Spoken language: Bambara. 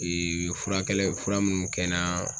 furakɛlɛ fura munnu kɛ n naa